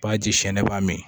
Ba ji siɲɛ ne b'a min